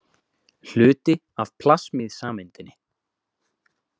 Hluti af plasmíðsameindinni.